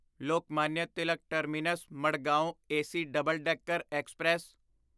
Lokmanya Tilak terminus Madgaon AC double decker express